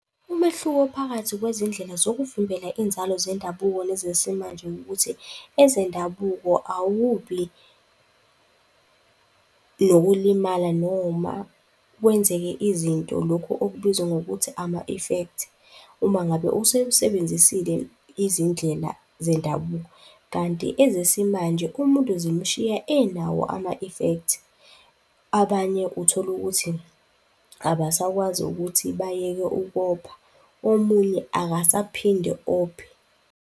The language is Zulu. Umehluko phakathi kwezindlela zokuvimbela inzalo zendabuko nezesimanje wukuthi, ezendabuko awubi nokulimala noma kwenzeke izinto, lokhu okubizwa ngokuthi ama-effect, uma ngabe usewusebenzisile izindlela zendabuko kanti ezesimanje, umuntu zimshiya enawo ama-affect. Abanye, utholukuthi abasakwazi ukuthi bayeke ukopha, omunye akasaphinde ophe.